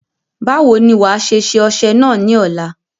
Báwo ni wàá ṣe ṣe ọṣẹ náà ní ọ̀la?